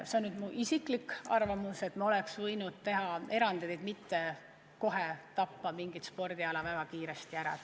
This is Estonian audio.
See on nüüd mu isiklik arvamus, et me oleks võinud teha erandeid, et mitte tappa mingit spordiala väga kiiresti ära.